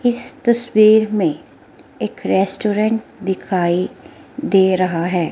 इस तस्वीर में एक रेस्टोरेंट दिखाई दे रहा है।